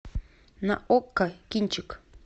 на окко кинчик